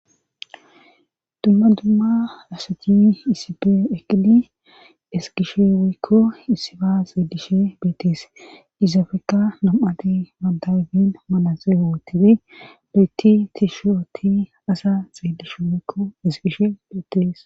dumma dumma asati isipe eqqidi ezgishe woykko issiba xeelishe beettees izafikka nam7ati banta ayifen manatsire wootidi loyitti tishi ooti asa xeelishin woykko ezgishe beettees